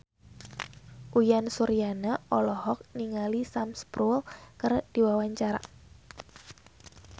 Uyan Suryana olohok ningali Sam Spruell keur diwawancara